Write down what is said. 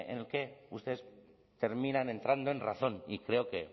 el que ustedes terminan entrando en razón y creo